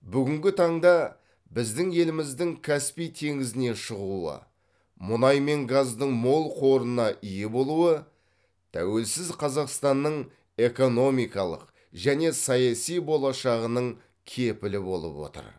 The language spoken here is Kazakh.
бүгінгі таңда біздің еліміздің каспий теңізіне шығуы мұнай мен газдың мол қорына ие болуы тәуелсіз қазақстанның экономикалық және саяси болашағының кепілі болып отыр